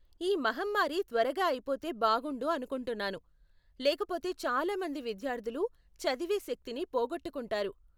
ఈ మహమ్మారి త్వరగా అయిపోతే బాగుండు అనుకుంటున్నాను, లేకపోతే చాలా మంది మంచి విద్యార్ధులు చదివే శక్తిని పోగొట్టుకుంటారు.